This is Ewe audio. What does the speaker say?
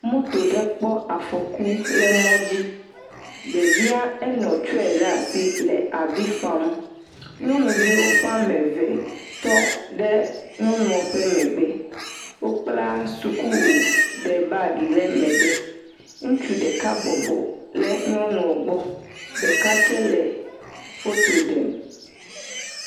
Moto ɖe kp afɔku le mɔdzi. Ɖevia enɔ tsɔe ɖe asi wole afi fam, nyŋnuvi ƒa me eve wotɔ ɖe nyɔnua ɖe ƒe megbe. Wo kla suku ɖe bagi ɖe mgbe. Ɖeka bɔbɔ ɖe nyɔnua gbɔ , ɖeka tsɛ le foto ɖem.